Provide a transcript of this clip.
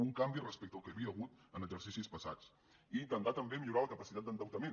un canvi respecte al que hi havia hagut en exercicis passats i intentar també millorar la capacitat d’endeutament